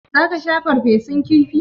Za ka sha farfesun kifi?